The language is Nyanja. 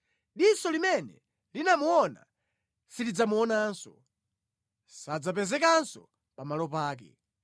Diso limene linamuona silidzamuonanso; sadzapezekanso pamalo pake.